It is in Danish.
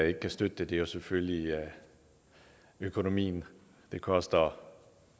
ikke kan støtte det er selvfølgelig økonomien det koster